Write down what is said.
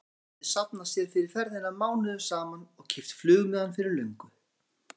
Mamma hefði safnað sér fyrir ferðinni mánuðum saman og keypt flugmiðann fyrir löngu.